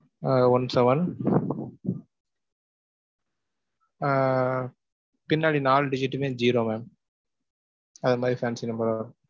ஆஹ் one-seven ஆஹ் பின்னாடி நால digit டுமே zero mam.